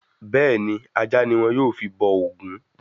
Bẹ́ẹ̀ni, ajá ni wọ́n yóò fi bọ òògùn